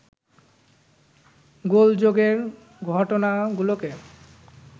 গোলযোগের ঘটনাগুলোকে